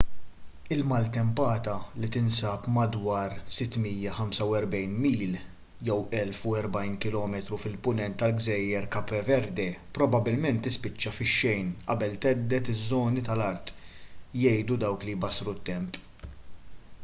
il-maltempata li tinsab madwar 645 mil 1040 km fil-punent tal-gżejjer cape verde probabbilment tispiċċa fix-xejn qabel thedded iż-żoni tal-art jgħidu dawk li jbassru t-temp